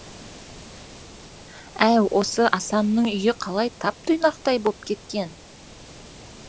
әй осы асанның үйі қалай тап тұйнақтай боп кеткен